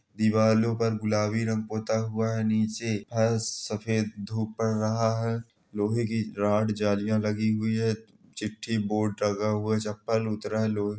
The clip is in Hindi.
दिवालो पर गुलाबी रंग पोता हुआ है नीचे फर्श सफ़ेद धुप पड़ रहा हैं लोहे की राड जलीयां लगी हुई हैं चिठ्ठी बोर्ड लगा हुआ चप्पल उतरा है लो--